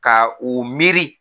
Ka u miiri